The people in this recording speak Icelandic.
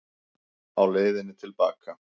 Á leiðinni til baka í